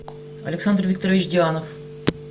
александр викторович дианов